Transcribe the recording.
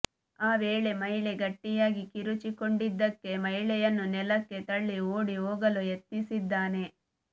ಆ ವೇಳೆ ಮಹಿಳೆ ಗಟ್ಟಿಯಾಗಿ ಕಿರುಚಿಕೊಂಡಿದ್ದಕ್ಕೆ ಮಹಿಳೆಯನ್ನು ನೆಲಕ್ಕೆ ತಳ್ಳಿ ಓಡಿ ಹೋಗಲು ಯತ್ನಿಸಿದ್ದಾನೆ